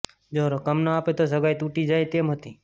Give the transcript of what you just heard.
જો રકમ નો આપે તો સગાઈ તુટી જાય તેમ હતી